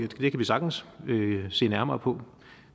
kan vi sagtens se nærmere på